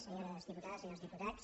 senyores diputades senyors diputats